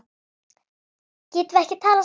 Getum við ekki talað saman?